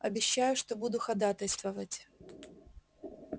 обещаю что буду ходатайствовать